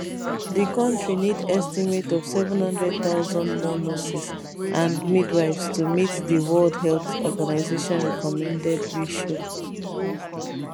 di kontri need estimate of 700000 more nurses and midwives to meet di world health organization recommended ratio